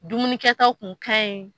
Dumunikɛtaw kun ka ɲi.